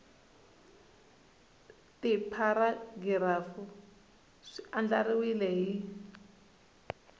tipharagirafu swi andlariwile hi ndlela